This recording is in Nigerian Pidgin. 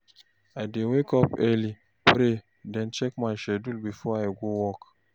I dey wake early, pray, then check my schedule before I go work.